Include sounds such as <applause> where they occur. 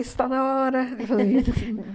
Está na hora! <laughs>